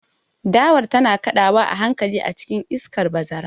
Dawar tana kaɗawa a hankali a cikin iskar bazara.